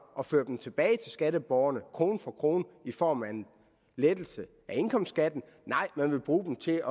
at føre dem tilbage til skatteborgerne krone for krone i form af en lettelse af indkomstskatten nej man vil bruge dem til